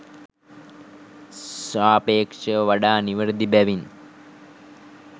සාපේක්ෂව වඩා නිවැරදි බැවින්